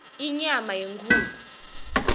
inyama yenkhukhu